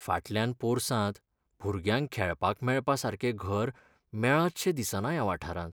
फाटल्यान पोरसांत भुरग्यांक खेळपाक मेळपासारकें घर मेळत शें दिसना ह्या वाठारांत.